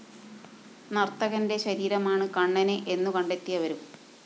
നര്‍ത്തകന്റെ ശരീരമാണ് കണ്ണന് എന്നുകണ്ടെത്തിയവരും